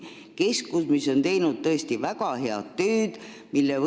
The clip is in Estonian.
See keskus on tõesti väga head tööd teinud.